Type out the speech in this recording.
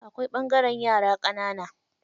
Akwai ɓangaren yara ƙanana.